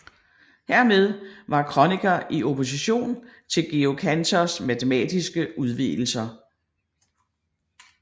Hermed var Kronecker i opposition til Georg Cantors matematiske udvidelser